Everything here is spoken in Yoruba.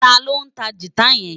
Táló ntá gitá yèn